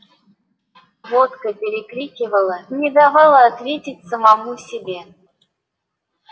водка перекрикивала не давала ответить самому себе